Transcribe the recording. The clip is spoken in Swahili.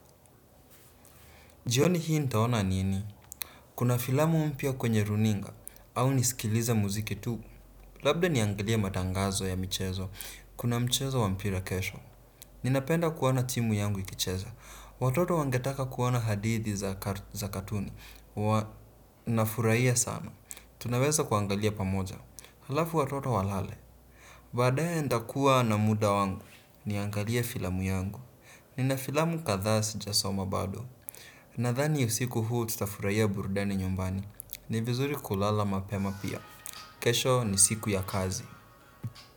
Jioni hii nitaona nini? Kuna filamu mpya kwenye runinga au nisikilize muziki tu. Labda niangalie matangazo ya michezo. Kuna mchezo wa mpira kesho. Ninapenda kuona timu yangu ikicheza. Watoto wangetaka kuona hadithi za katuni. Nafurahia sana tunaweza kuangalia pamoja halafu watoto walale baadaye nitakuwa na muda wangu niangalie filamu yangu nina filamu kadhaa sijasoma bado. Nadhani usiku huu tutafurahia burudani nyumbani ni vizuri kulala mapema pia. Kesho ni siku ya kazi.